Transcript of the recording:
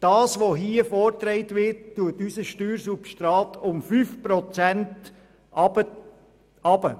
Was nun vorgeschlagen wird, setzt unser Steuersubstrat um 5 Prozent herunter.